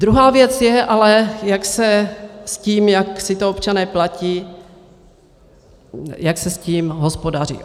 Druhá věc je ale, jak se s tím, jak si to občané platí, jak se s tím hospodaří.